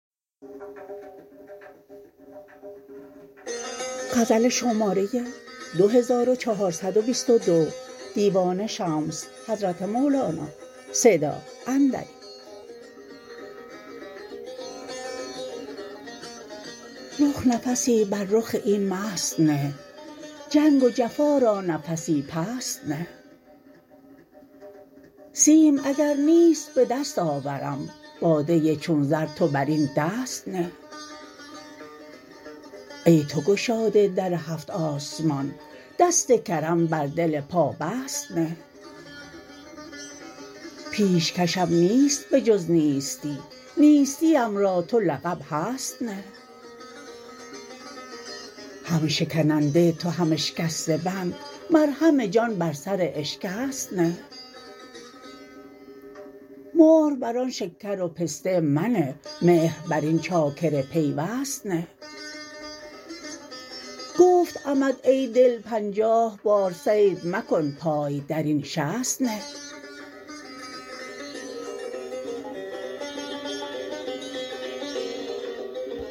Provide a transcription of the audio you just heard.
رخ نفسی بر رخ این مست نه جنگ و جفا را نفسی پست نه سیم اگر نیست به دست آورم باده چون زر تو بر این دست نه ای تو گشاده در هفت آسمان دست کرم بر دل پابست نه پیشکشم نیست به جز نیستی نیستیم را تو لقب هست نه هم شکننده تو هم اشکسته بند مرهم جان بر سر اشکست نه مهر بر آن شکر و پسته منه مهر بر این چاکر پیوست نه گفته امت ای دل پنجاه بار صید مکن پای در این شست نه